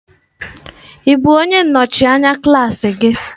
Ị bụ onye nnọchi anya klaasị gị?